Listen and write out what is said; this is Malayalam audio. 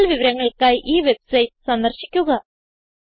കൂടുതൽ വിവരങ്ങൾക്കായി ഈ വെബ്സൈറ്റ് സന്ദർശിക്കുക